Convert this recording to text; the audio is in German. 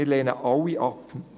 wir lehnen diese alle ab.